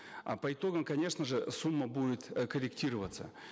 э по итогам конечно же сумма будет э корректироваться